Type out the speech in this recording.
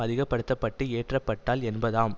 அதிக்கப்படுத்தப்பட்டு ஏற்றப்பட்டால் என்பதாம்